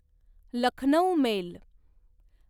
Lucknow mail